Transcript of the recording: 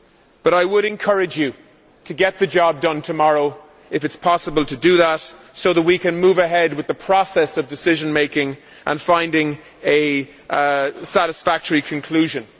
But I would encourage you to get the job done tomorrow if possible, so that we can move ahead with the process of decision making and finding a satisfactory conclusion.